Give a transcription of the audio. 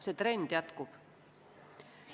See trend jätkub.